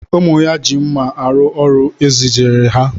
Ụmụ ya ji mma arụ ọrụ e zijere ha